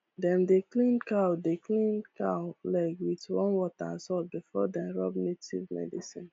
dem dey clean cow dey clean cow leg wit warm water and salt before dem rub native medicine